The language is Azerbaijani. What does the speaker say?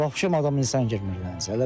Vapşe adam insan girmir ələmsə.